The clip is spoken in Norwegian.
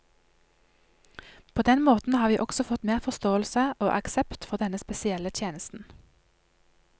På den måten har vi også fått mer forståelse og aksept for denne spesielle tjenesten.